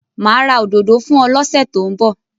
Mà á ra òdodo fún ọ lọ́sẹ̀ tó ń bọ̀.